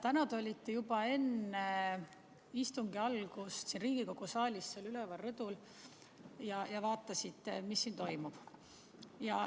Täna te olite juba enne istungi algust siin Riigikogu saalis seal üleval rõdul ja vaatasite, mis siin toimub.